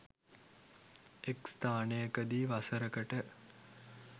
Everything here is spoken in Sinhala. එක් ස්ථානයකදී වසරකට